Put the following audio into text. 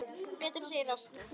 Betra, segir Ásgeir.